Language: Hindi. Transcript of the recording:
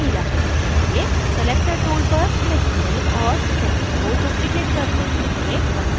selector tool पर click करें और text को duplicate करने के लिए ctrl + d दबाएं